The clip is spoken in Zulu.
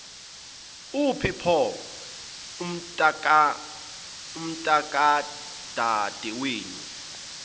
uphi pho umntakadadewenu